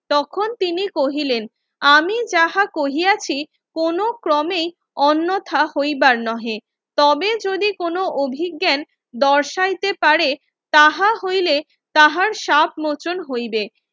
তখন তিনি কহিলেন আমি যাহা কহিয়াছি কোনো ক্রমেই অন্যথা হইবার নহে তবে যদি কোন অভিজ্ঞান দর্শাইতে পারে তাহা হইলে তাহার সাত মোচন হইবে